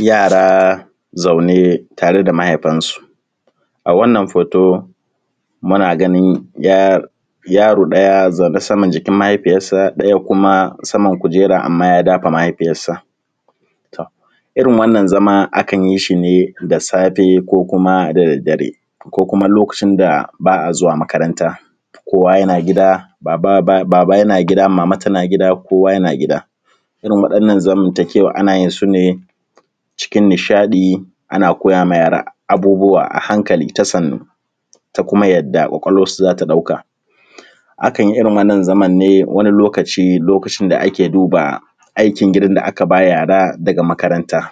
Yara zaune tare da mahaifansu. A wannan hoto muna ganin yaro ɗaya zaune saman jikin mahaifiyarsa, ɗaya kuma saman kujera amma ya dafa mahaifiyarsa. Irin wannan zama akan yi shi ne da safe ko kuma da daddare ko kuma lokacin da ba a zuwa makaranta kowa yana gida baba yana gida mama tana gida, kowa yana gida. Irin wannan zamantakewan ana yin sune cikin nishaɗi ana koya wa yara abubuwa a hankali ta sannu ta kuma yadda ƙwaƙwalwan su za ta ɗauka. Akan yi irin wannan zaman ne wani lokaci, lokacin da ake duba aikin gida da aka ba yara daga makaranta.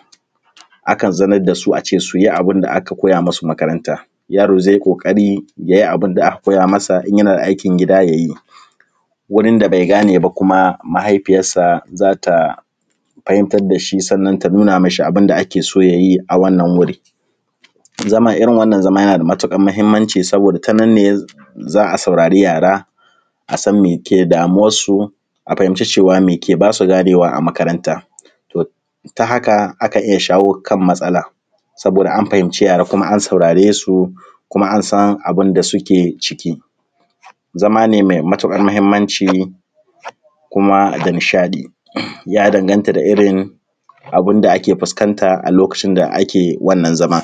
Akan zaunar da su ace su yi abun da aka koya masu a makaranta, yaro zai yi ƙoƙari yayi abun da aka koya masa, in yana da aikin gida yayi, wurin da bai gane ba kuma mahaifiyarsa za ta fahimtar da shi, sannan ta nuna ma shi abun da ake so yayi a wannan wuri. Zama irin wannan zama yana da matuƙar muhimmanci sosai, ta nan ne za a saurari yara, a san me ke damuwansu, a fahimci cewa me ke basu ganewa a makaranta. To ta haka akan iya shawo kan matsala saboda an fahimci yara kuma an saurare su, kuma an san abun da suke ciki, zama ne mai matuƙar muhimmanci kuma da nishaɗi. Ya danganta da irin abun da ake fuskanta wannan zaman.